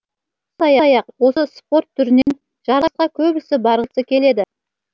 сондай ақ осы спорт түрінен жарысқа көбісі барғысы келеді